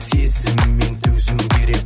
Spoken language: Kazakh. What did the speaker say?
сезім мен төзім керек